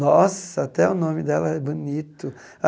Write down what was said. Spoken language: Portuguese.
Nossa, até o nome dela é bonito.